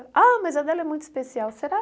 Ah, mas a dela é muito especial, será?